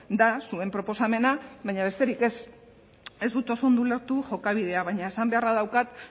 da zuen proposamena baina besterik ez ez dut oso ondo ulertu jokabidea baina esan beharra daukat